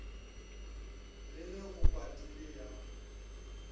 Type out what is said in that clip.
le ge go padile ya